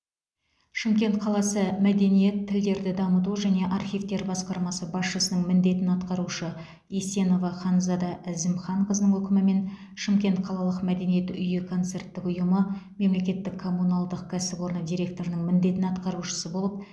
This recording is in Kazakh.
шымкент қаласы мәдениет тілдерді дамыту және архивтер басқармасы басшысының міндетін атқарушы есенова ханзада әзімханқызының өкімімен шымкент қалалық мәдениет үйі концерттік ұйымы мемлекеттік коммуналдық кәсіпорын директорының міндетін атқарушысы болып